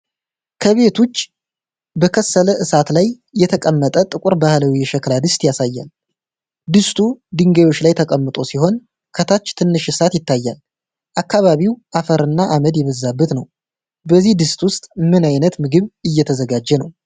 ከቤት ውጭ፣ በከሰል እሳት ላይ የተቀመጠ ጥቁር ባህላዊ የሸክላ ድስት ያሳያል። ድስቱ ድንጋዮች ላይ ተቀምጦ ሲሆን፣ ከታች ትንሽ እሳት ይታያል። አካባቢው አፈርና አመድ የበዛበት ነው። በዚህ ድስት ውስጥ ምን ዓይነት ምግብ እየተዘጋጀ ነው?